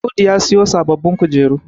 Audu ya siyo sababbin kujeru